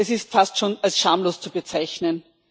Es ist fast schon als schamlos zu bezeichnen.